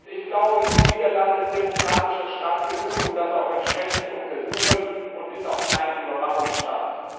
Ich glaube, die Niederlande sind demokratischer Staat genug, um das auch entsprechend zu untersuchen, und sind auch kein Überwachungsstaat.